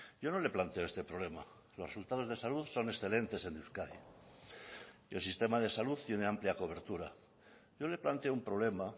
yo no le planteo este problema los resultados de salud son excelentes en euskadi el sistema de salud tiene amplia cobertura yo le planteo un problema